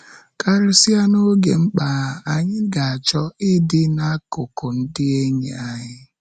Karịsịa n’oge mkpa, anyị ga-achọ ịdị n’akụkụ ndị enyi anyị.